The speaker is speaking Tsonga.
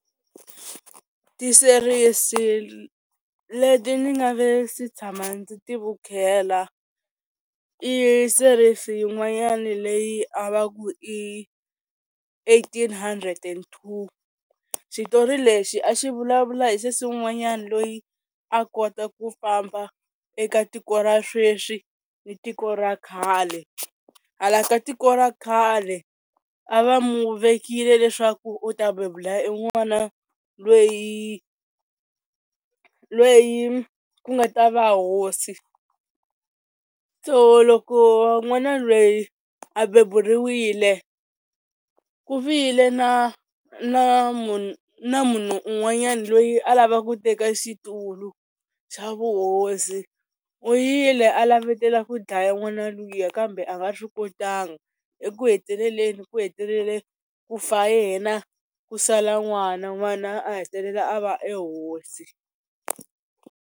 Tiserisi leti ni nga ve si tshama ndzi ti vukheta i series yin'wanyani leyi a va ku i eighteen hundred and two, xitori lexi a xi vulavula hi sesi wun'wanyani loyi a kota ku famba eka tiko ra sweswi ni tiko ra khale, hala ka tiko ra khale a va mu vekile leswaku u ta bebula i n'wana lweyi lweyi ku nga ta va hosi, so loko n'wana lweyi a beburiwile ku vile na na munhu na munhu un'wanyani loyi a lava ku teka xitulu xa vuhosi, u yile a lavetela ku dlaya n'wana luya kambe a nga swi kotangi, eku heteleleni ku heteleleni, ku fa yena ku sala n'wana n'wana a hetelela a va e hosi.